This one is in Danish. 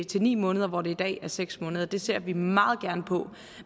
til ni måneder hvor det i dag er seks måneder det ser vi meget gerne på